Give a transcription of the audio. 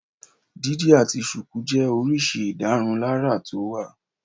Dídi àti ṣùkú jẹ́ oríṣi ìdárunlárà tó wà.